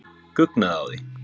Guggnaði á því.